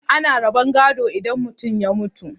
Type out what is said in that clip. ana rabon gado idan mutum ya mutu